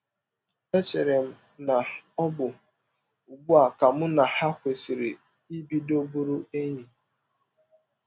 Echere m na ọ bụ ụgbụ a ka mụ na ha kwesịrị ibido bụrụ enyi. ”